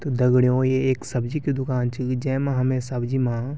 त दगड़ियों ये ऐक सब्जी क दुकान च जेमा हमे सब्जी मा ।